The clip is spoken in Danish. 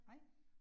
Nej